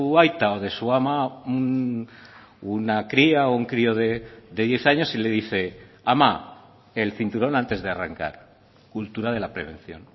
aita o de su ama una cría o un crío de diez años y le dice ama el cinturón antes de arrancar cultura de la prevención